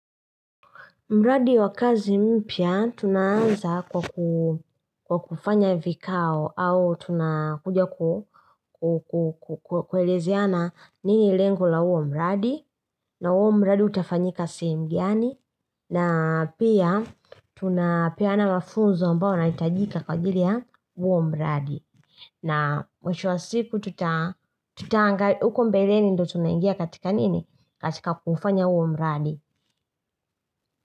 Mradi wa kazi mpya, tunaanza kwa kufanya vikao au tunakuja kuelezeana nini lengo la uo mradi, na uo mradi utafanyika sehemu gani, na pia tunapeana mafunzo ambao unahitajika kwa ajili ya uo mradi. Na mwisho wa siku tutaangali, huko mbeleni ndo tunaingia katika nini? Katika kufanya uo mbradi.